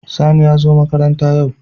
Sani yazo makaranta yau